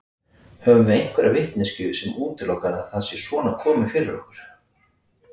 Höfum við einhverja vitneskju sem útilokar að það sé svona komið fyrir okkur?